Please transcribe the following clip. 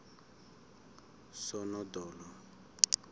sonodolo